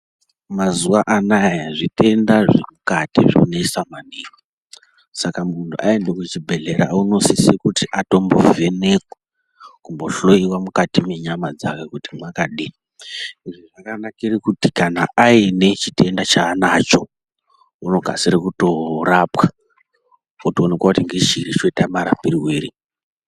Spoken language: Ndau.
Mazuwa anaya zvitenda zvemukati zvonesa maningi, saka munhu aende kuchibhedhlera unosisire kuti atombovhenekwa kumbohloiwa mukati menyama dzake kuti mwakadini. Izvi zvakanakire kuti kana aine chitenda chaainacho, unokasire kutorapwa, otooneka kuti ngechiri choita marapirwei.